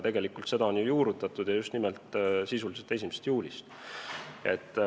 Tegelikult seda on ju juurutatud sisuliselt 1. juulist.